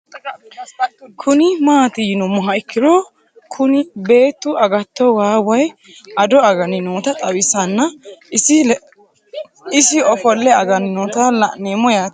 Kuni maati yinumoha ikiro Kuni beetu agato waa woyi ado again noota xawisana isi I ofole again noota la'nemo yaate